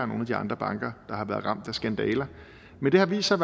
nogle af de andre banker der har været ramt af skandaler men det har vist sig